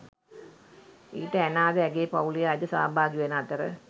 ඊට ඇනා ද ඇගේ පවුලේ අය ද සහභාගී වන අතර